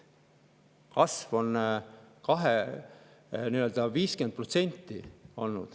Kasv on olnud 50%.